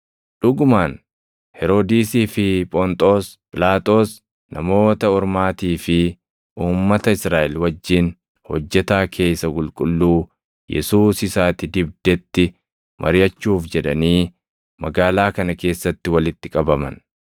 Dhugumaan Heroodisii fi Phonxoos Phiilaaxoos Namoota Ormaatii fi uummata Israaʼel wajjin hojjetaa kee isa qulqulluu, Yesuus isa ati dibdetti mariʼachuuf jedhanii magaalaa kana keessatti walitti qabaman.